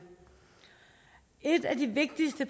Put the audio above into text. et af de vigtigste